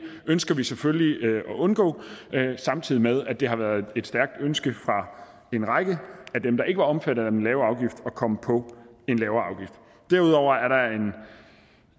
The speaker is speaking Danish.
ønsker vi selvfølgelig at undgå samtidig med at det har været et stærkt ønske fra en række af dem der ikke var omfattet af den lave afgift at komme på en lavere afgift derudover er der